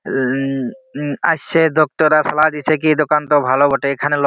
ও ও ও আইসে ডক্টর আইসলা নিচে গিয়ে দোকানটা ভালো বটে। এখানে লোক--